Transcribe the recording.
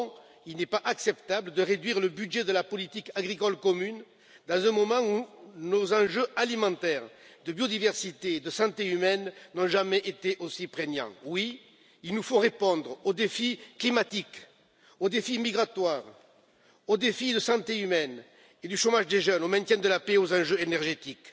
Non, il n'est pas acceptable de réduire le budget de la politique agricole commune, dans un moment où nos enjeux alimentaires de biodiversité, de santé humaine n'ont jamais été aussi prégnants. Oui, il nous faut répondre aux défis climatiques, aux défis migratoires, aux défis de la santé humaine, du chômage des jeunes et du maintien de la paix, ainsi qu'aux enjeux énergétiques.